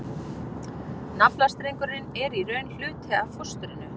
Naflastrengurinn er í raun hluti af fóstrinu.